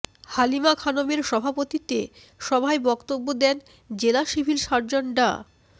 হালিমা খানমের সভাপতিত্বে সভায় বক্তব্য দেন জেলা সিভিল সার্জন ডা